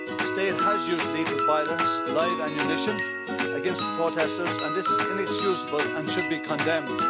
The state has used lethal violence live ammunition against the protesters, and this is inexcusable and should be condemned.